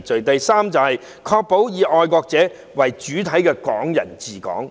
第三，確保以愛國者為主體的"港人治港"。